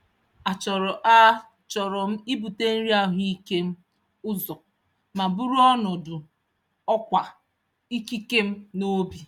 A chọrọ A chọrọ m ibute nri ahụike m ụzọ ma buru ọnọdụ ọkwa ikike m n'obi.